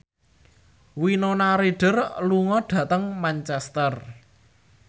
Winona Ryder lunga dhateng Manchester